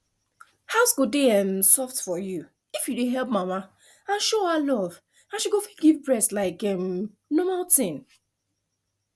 house go dey um soft if you dey help mama and show her love and she go fit give breast like um normal tin